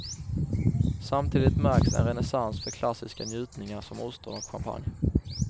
Samtidigt märks en renässans för klassiska njutningar som ostron och champagne.